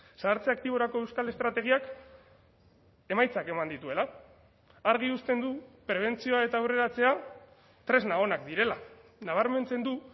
zahartze aktiborako euskal estrategiak emaitzak eman dituela argi uzten du prebentzioa eta aurreratzea tresna onak direla nabarmentzen du